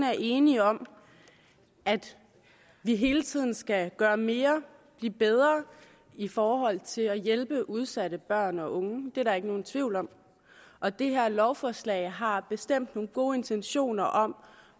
er enige om at vi hele tiden skal gøre mere og blive bedre i forhold til at hjælpe udsatte børn og unge det er der ikke nogen tvivl om og det her lovforslag har bestemt nogle gode intentioner om